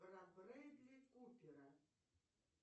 про брэдли купера